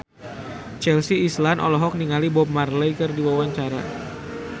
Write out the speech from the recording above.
Chelsea Islan olohok ningali Bob Marley keur diwawancara